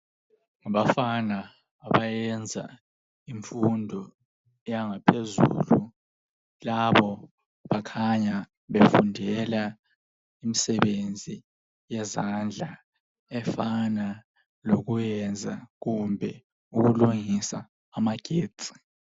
ngabafana abayenza imfundo yangaphezulu labo bakhanya befundela imsebenzi yezandla efana lokwenza kumbe ukulungisa amagetsi